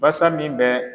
Basa min bɛ